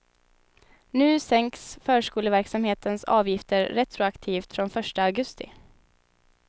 Nu sänks förskoleverksamhetens avgifter retroaktivt från första augusti.